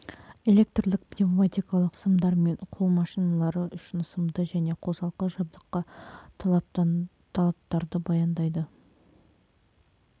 электрлік пневматикалық сымдармен қол машиналары үшін сымды және қосалқы жабдыққа талаптарды баяндайды